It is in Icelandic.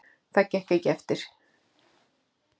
Það gekk ekki eftir.